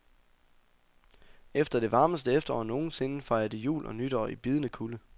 Efter det varmeste efterår nogen sinde fejrer de jul og nytår i bidende kulde.